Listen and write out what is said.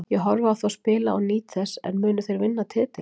Ég horfi á þá spila og nýt þess en munu þeir vinna titilinn?